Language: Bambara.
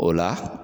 O la